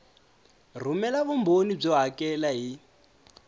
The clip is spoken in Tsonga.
rhumela vumbhoni byo hakela hi